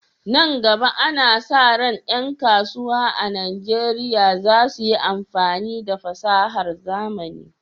Nan gaba, ana sa ran ƴan kasuwa a Najeriya za su yi amfani da fasahar zamani